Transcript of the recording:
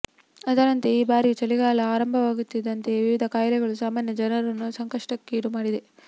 ಅದರಂತೆ ಈ ಬಾರಿಯೂ ಚಳಿಗಾಲ ಆರಂಭವಾಗುತ್ತಿದ್ದಂತೆಯೇ ವಿವಿಧ ಖಾಯಿಲೆಗಳು ಸಾಮಾನ್ಯ ಜನರನ್ನು ಸಂಕಷ್ಟಕ್ಕೀಡು ಮಾಡಿದೆ